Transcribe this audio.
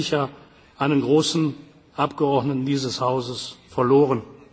hat. Wir haben einen großen Abgeordneten dieses Hauses